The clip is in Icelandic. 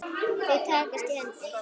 Þau takast í hendur.